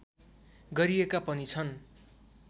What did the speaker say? गरिएका पनि छन्